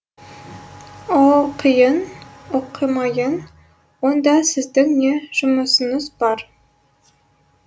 оқиын оқымайын онда сіздің не жұмысыңыз бар